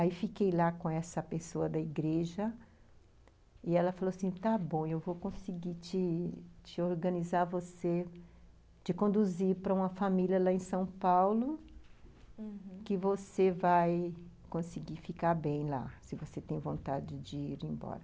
Aí fiquei lá com essa pessoa da igreja, e ela falou assim, está bom, eu vou conseguir te te organizar você, te conduzir para uma família lá em São Paulo, uhum, que você vai conseguir ficar bem lá, se você tem vontade de ir embora.